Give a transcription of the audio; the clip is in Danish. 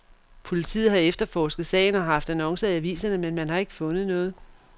Politiet har efterforsket sagen og haft annoncer i aviserne, men man har ikke fundet noget.